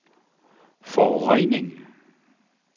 forurening